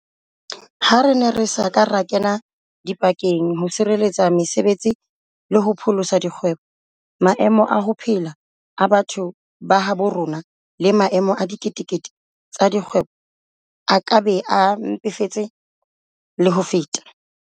Ha re ne re sa ka ra kena dipakeng ho sireletsa mese betsi le ho pholosa dikgwebo, maemo a ho phela a batho ba habo rona le maemo a dikete kete tsa dikgwebo a ka be a mpefetse le ho feta.